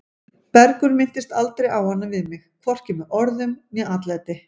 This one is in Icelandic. Bergur minntist aldrei á hana við mig, hvorki með orðum né atlæti.